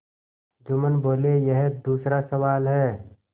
जुम्मन बोलेयह दूसरा सवाल है